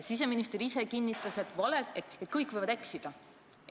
Siseminister ise kinnitas, et kõik võivad eksida.